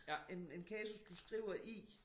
En en kasus du skriver i